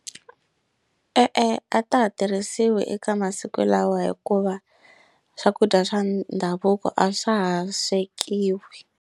E-e a ta ha tirhisiwi eka masiku lawa hikuva swakudya swa ndhavuko a swa ha swekiwi.